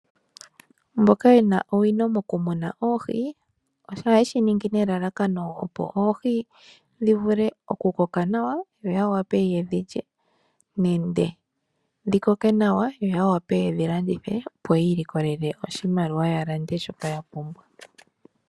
Mboka yena owino mokumuna oohi, ohaye shi ningi nelalakano opo oohi dhi vule okukoka nawa yo yawape ya lye nenge yalandithe yiilikolele oshimaliwa ya lande oompumbwe dhawo.